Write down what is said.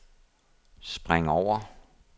spring over